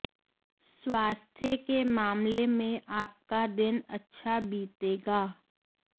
स्वास्थ्य के मामले में आपका दिन अच्छा बीतेगा